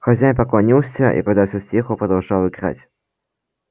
хозяин поклонился и когда все стихло продолжал играть